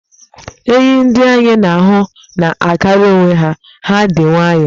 Enyì ndị anyị na-ahụ na-agara onwe ha, ha dị nwayọ.